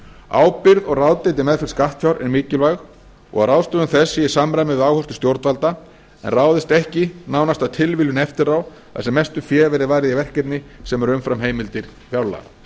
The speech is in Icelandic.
ábyrgð og ráðdeild í meðferð skattfjár er mikilvæg og að ráðstöfun þess sé í samræmi við áherslur stjórnvalda en ráðist ekki nánast af tilviljun eftir á þar sem mestu fé verði varið í verkefni sem eru umfram heimildir fjárlaga